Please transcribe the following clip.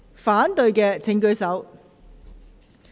反對的請舉手。